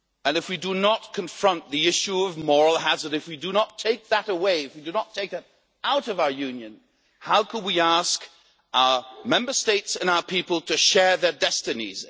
If we do not confront the issue of moral hazard, if we do not take that away, if we do not take that out of our Union, how could we ask our Member States and our people to share their destinies?